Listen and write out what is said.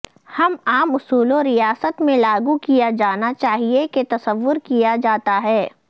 ہم عام اصولوں ریاست میں لاگو کیا جانا چاہیے کہ تصور کیا جاتا ہے